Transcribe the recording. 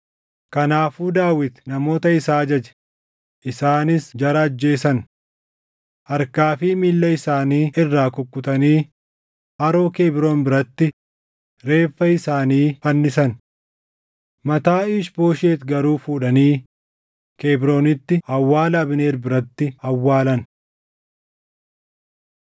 Kanaafuu Daawit namoota isaa ajaje; isaanis jara ajjeesan. Harkaa fi miilla isaanii irraa kukkutanii haroo Kebroon biratti reeffa isaanii fannisan. Mataa Iish-Booshet garuu fuudhanii Kebroonitti awwaala Abneer biratti awwaalan.